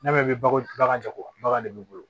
N'a mɛn bagan jagobaga de b'i bolo